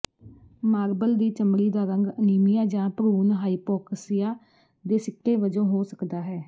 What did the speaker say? marble ਦੀ ਚਮੜੀ ਦਾ ਰੰਗ ਅਨੀਮੀਆ ਜਾਂ ਭਰੂਣ ਹਾਇਪੌਕਸਿਆ ਦੇ ਸਿੱਟੇ ਵਜੋਂ ਹੋ ਸਕਦਾ ਹੈ